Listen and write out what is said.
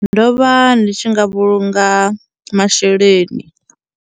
Ndo vha ndi tshi nga vhulunga masheleni.